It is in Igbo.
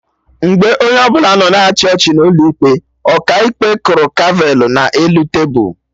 Mgbe onye ọbụla nọ na-achị ọchị n'ụlọ ikpe, Ọkaikpe kụrụ gavelụ ya na elu tebul